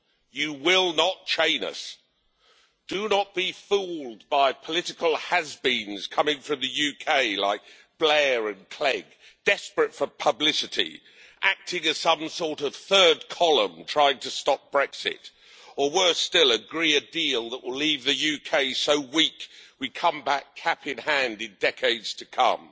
You will not chain us. Do not be fooled by political has beens coming from the UK, like Blair and Clegg, desperate for publicity, acting as some sort of third column trying to stop Brexit or, worse still, agree a deal that will leave the UK so weak we come back, cap in hand, in decades to come.